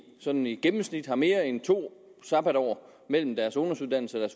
sådan i gennemsnit har mere end to sabatår mellem deres ungdomsuddannelse og